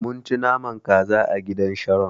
Mun ci naman kaza a gidan Sharon.